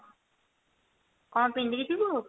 କଣ ପିନ୍ଧିକି ଯିବୁ?